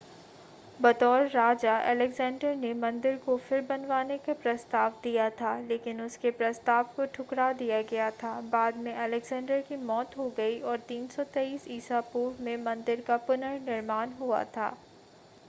बतौर राजा अलेक्जेंडर ने मंदिर को फिर बनवाने का प्रस्ताव दिया था लेकिन उसके प्रस्ताव को ठुकरा दिया गया था बाद में अलेक्जेंडर की मौत हो गई और 323 ईसा पूर्व में मंदिर का पुनर्निर्माण हुआ था